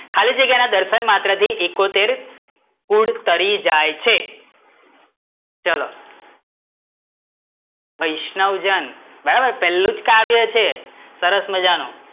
ખાલી જગ્યા ના દર્શન માત્ર થી ઈકોતેર કુળ તરી જાય છે ચલો, વૈષ્ણવજન બરાબર પેલું જ કાવ્ય છે સરસ મજા નું,